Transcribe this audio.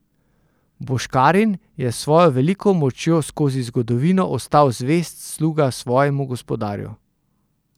Boškarin je s svojo veliko močjo skozi zgodovino ostal zvest sluga svojemu gospodarju.